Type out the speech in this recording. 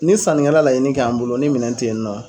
Ni sannikɛla laɲini k'an bolo ni minɛn ten yen nɔ